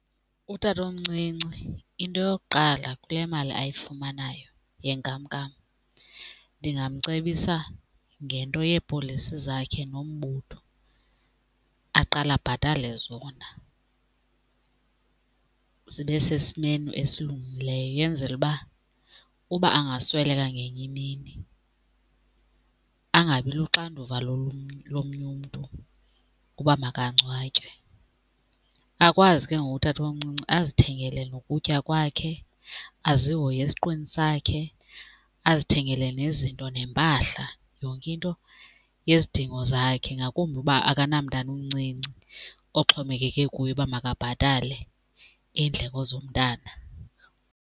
Utatomncinci into yokuqala kule mali ayifumanayo yenkamnkam ndingamcebisa ngento yeepolisi zakhe nombutho, aqale abhatale zona zibe sesimeni esilungileyo yenzele uba uba angasweleka ngenye imini angabi luxanduva lomnye umntu ukuba makangcwatywe. Akwazi ke ngoku utatomncinci azithengele nokutya kwakhe, azihoye esiqwini sakhe, azithengele nezinto nempahla, yonke into yezidingo zakhe, ngakumbi uba akanamntana umncinci oxhomekeke kuye uba makabhatale iindleko zomntana.